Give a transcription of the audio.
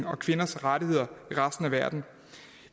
og kvinders rettigheder i resten af verden